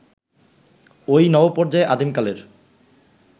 ওই নবপর্যায়ে আদিমকালের